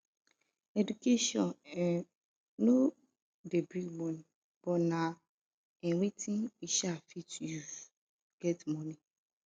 education um no de bring money but na um wetin we um fit use get money